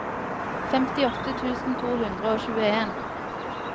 femtiåtte tusen to hundre og tjueen